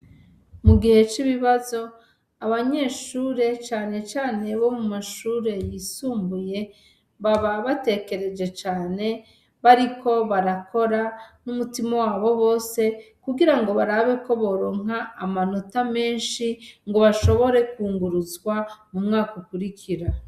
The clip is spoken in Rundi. Mu gihe c'ibibazo abanyeshure canecane bo mu mashure yisumbuye baba batekereje cane bariko barakora n'umutima wabo bose kugira ngo barabeko boronka amanota menshi ngo bashobore kwunguruzwa mu mwaka ukurikiro.